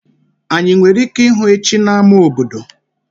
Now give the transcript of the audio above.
Anyị nwere ike ịhụ echi na-ama obodo?